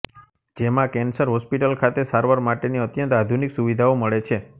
જેમાં cancer hospital ખાતે સારવાર માટેની અત્યંત આધુનિક સુવિધાઓ મળે છે